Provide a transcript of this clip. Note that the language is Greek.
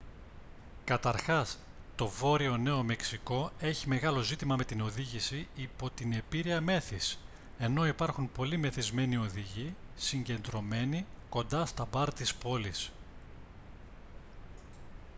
καταρχάς το βόρειο νέο μεξικό έχει μεγάλο ζήτημα με την οδήγηση υπό την επήρεια μέθης ενώ υπάρχουν πολλοί μεθυσμένοι οδηγοί συγκεντρωμένοι κοντά στα μπαρ της πόλης